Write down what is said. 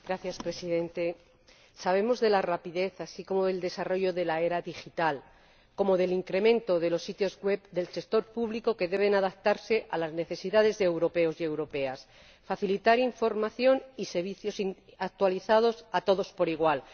Señor Presidente, sabemos de la rapidez así como del desarrollo de la era digital y del incremento de los sitios web del sector público, que deben adaptarse a las necesidades de los europeos y europeas y facilitar información y servicios actualizados a todos por igual.